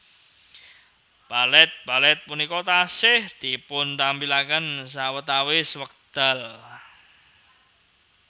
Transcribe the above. Balet balet punika taksih dipuntampilaken sawetawis wekdal